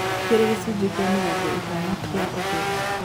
Ikĩra gĩcũnjĩ kĩa mĩrongo ĩtano kĩa ũtherĩ